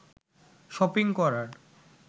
shopping করার